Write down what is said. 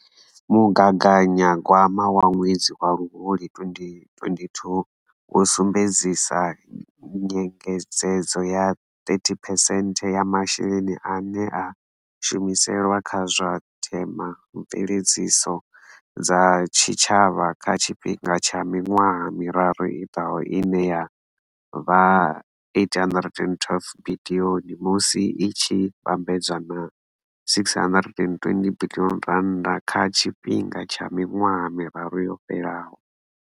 Mugaganyagwama wa ṅwedzi wa Luhuhi 2022 wo sumbedzisa nyengedzedzo ya 30phesenthe ya masheleni ane a shumiselwa kha zwa themamveledziso dza tshitshavha kha tshifhinga tsha miṅwaha miraru i ḓaho ine ya vha R 812 biḽioni musi i tshi vhambedzwa na R 627 biḽioni kha tshifhinga tsha miṅwaha miraru yo fhelaho.